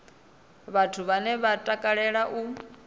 vhathu vhane vha takalea u